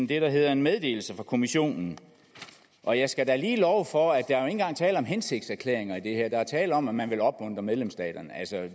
det der hedder en meddelelse fra kommissionen og jeg skal da lige love for at der jo ikke engang er tale om hensigtserklæringer i det her der er tale om at man vil opmuntre medlemsstaterne